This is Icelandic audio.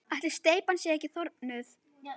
Ætli steypan sé ekki þornuð?